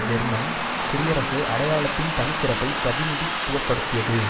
German குடியரசு அடையாளத்தின் தனிச்சிறப்பை பிரதிநிதித்துவப்படுத்தியது